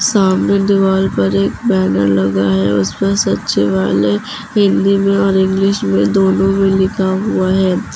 सामने दीवाल पर एक बैनर लगा है उस पर सचिवालय हिंदी मे और इंग्लिश मे दोनों में लिखा हुआ है।